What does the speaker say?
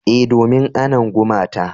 E, domin anna gumata.